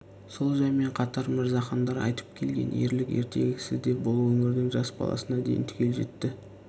сол жаймен қатар мырзахандар айтып келген ерлік ертегісі де бұл өңірдің жас баласына дейін түгел жетті